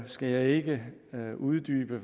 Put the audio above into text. skal jeg ikke uddybe